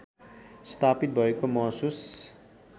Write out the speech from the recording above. स्थापित भएको महसुस